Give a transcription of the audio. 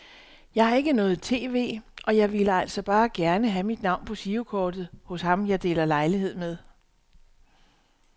Jeg har ikke noget tv, og jeg ville altså bare gerne have mit navn på girokortet hos ham jeg deler lejlighed med.